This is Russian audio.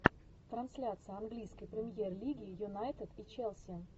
трансляция английской премьер лиги юнайтед и челси